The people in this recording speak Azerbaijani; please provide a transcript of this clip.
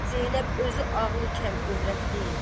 Zeynəb özü ağılı kəm övrət deyil.